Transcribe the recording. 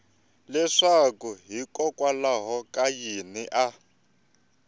leswaku hikokwalaho ka yini a